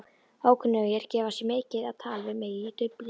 Ókunnugir gefa sig mikið á tal við mig í Dublin.